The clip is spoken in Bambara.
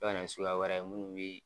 Bɛ ka na ni suguya wɛrɛ ye munnu bi.